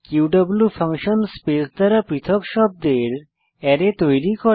Q function space দ্বারা পৃথক শব্দের অ্যারে তৈরি করে